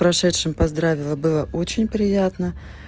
прошедшим поздравила было очень приятно